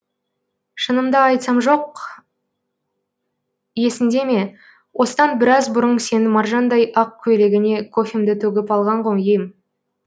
шынымды айтсам жоқ есіңде ме осыдан біраз бұрын сенің маржандай ақ көйлегіңе кофемді төгіп алған ем ғой